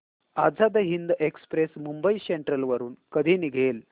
Azad Hind express Mumbai central वरून कधी निघेल